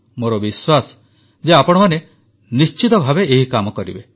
ମୋର ବିଶ୍ୱାସ ଯେ ଆପଣମାନେ ନିଶ୍ଚିତ ଭାବେ ଏହି କାମ କରିବେ